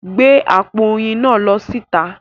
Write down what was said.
Gbé àpò oyin náà lọ síta!